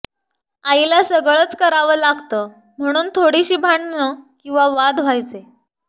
आईला सगळंच करावं लागतं म्हणून थोडीशी भांडणं किंवा वाद व्हायचे